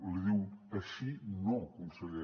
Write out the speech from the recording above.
li diu així no conseller